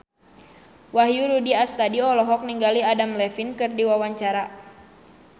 Wahyu Rudi Astadi olohok ningali Adam Levine keur diwawancara